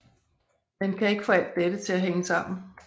Men kan ikke få alt dette til at hænge sammen